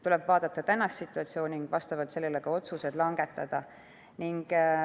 Tuleb vaadata tänapäevast situatsiooni ning vastavalt sellele ka otsused langetada.